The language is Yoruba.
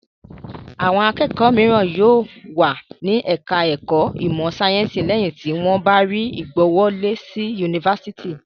Awọn akẹ́kọ̀ọ́ mìíràn yóò wà ní ẹ̀ka-ẹ̀kọ́ ìmọ̀-sáyẹ́ńsì lẹ́yìn tí wọ́n bá rí ìgbàwọlé sí yunifásitì.